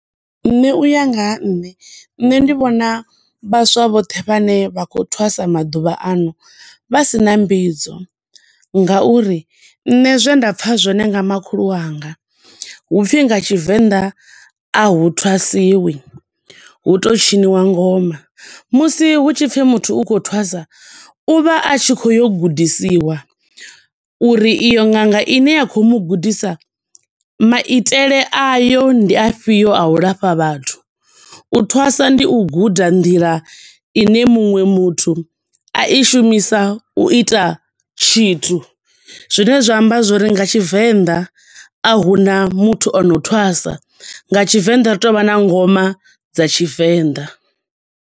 Nṋe u ya nga ha, nṋe ndi vhona vhaswa vhoṱhe vhane vha khou thwasa maḓuvha ano, vha sina mbidzo, nga uri nṋe zwe nda pfa zwone nga makhulu wanga, hupfi nga Tshivenḓa, ahu thwasiwi, hu to tshiniwa ngoma, musi hu tshi pfi muthu u khou thwasa u vha a tshi khou ya u gudisiwa, uri iyo ṅanga ine ya khou mu gudisa, maitele ayo ndi a fhio a u lafha vhathu, u thwasa ndi u guda nḓila ine muṅwe muthu a i shumisa u ita tshithu. Zwine zwa amba zwo uri nga tshivenda, a huna muthu ono thwasa, nga Tshivenṋa ri to vha na ngoma dza Tshivenḓa.